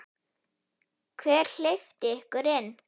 Hver hleypti ykkur inn?